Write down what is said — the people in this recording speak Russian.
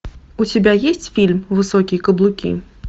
у тебя есть фильм высокие каблуки